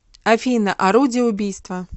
афина орудие убийства